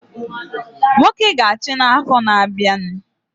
Nwoke ga achi na afo na abia